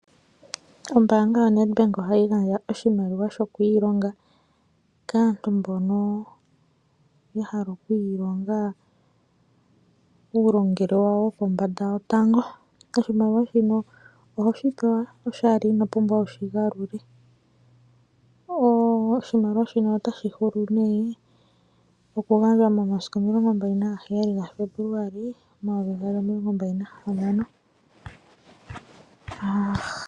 Ombaanga yaNEDBANK ohayi gandja oshimaliwa sho kwiilonga kaantu mbono yahala okwiilonga uulongelwe wawo wonpombanfa wo tango ,oshimaliwa shino ohoshi pewa oshali iho pumbwa okushifula oshimaliwa shinonotashi hulu nee okugandwa momasiku 16 ga Febuluali 2026.